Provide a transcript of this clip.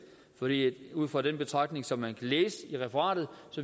ud fra den betragtning som man kan læse i referatet